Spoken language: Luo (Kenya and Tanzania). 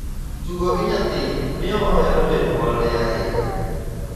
Tugo gi nyathi miyo ohero janyuolne ahinya.